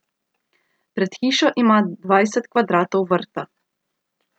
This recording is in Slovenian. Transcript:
Pred hišo imam dvajset kvadratov vrta.